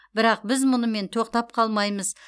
бірақ біз мұнымен тоқтап қалмаймыз